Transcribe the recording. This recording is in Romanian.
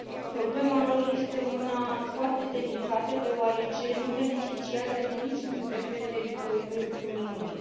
Problema lor este una foarte delicată, deoarece nu beneficiază de niciun drept pe teritoriul Uniunii.